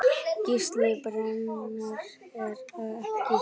Gísli:. brennan er það ekki?